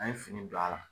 An ye fini don a la